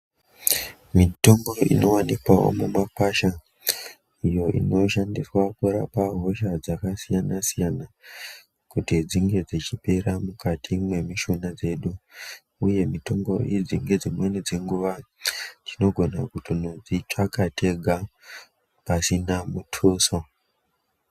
Mitombo inowanikwawo mumakwasha iyo inoshandiswa kurapa hosha dzakasiyana siyana kuti dzinge dzechipera mukati mwemishuna dzedu uye mitombo idzi ngedzimweni dzenguwa tinogona kutonodzitsvaka tega pasina mutuso.